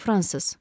Fransız.